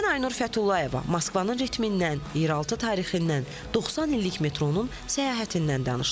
Mən Aynur Fətullayeva Moskvavanın ritmindən, yeraltı tarixindən, 90 illik metronun səyahətindən danışdım.